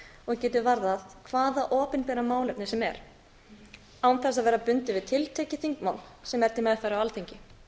og getur varðað hvaða opinbera málefni sem er án þess að vera bundið við tekið þingmál sem er til meðferðar á alþingi